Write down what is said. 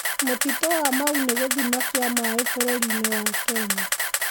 Mũtitũ wa Mau nĩ gĩthima kĩa maĩ bũrũri-inĩ wa Kenya.